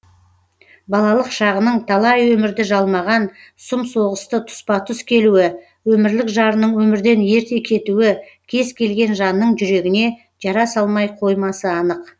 балалық шағының талай өмірді жалмаған сұм соғысты тұспа тұс келуі өмірлік жарының өмірден ерте кетуі кез келген жанның жүрегіне жара салмай қоймасы анық